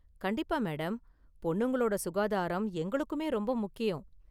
கண்டிப்பா மேடம், பொண்ணுங்களோட சுகாதாரம் எங்களுக்குமே ரொம்ப முக்கியம்.